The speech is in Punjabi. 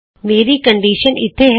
ਮੇਰੀ ਕੰਨਡਿਸ਼ਨ ਇਥੇ ਹੈ